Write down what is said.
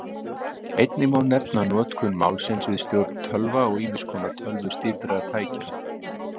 Einnig má nefna notkun málsins við stjórn tölva og ýmiss konar tölvustýrðra tækja.